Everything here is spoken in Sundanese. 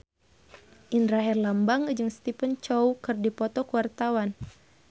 Indra Herlambang jeung Stephen Chow keur dipoto ku wartawan